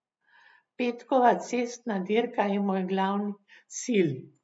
Petkova cestna dirka je moj glavni cilj.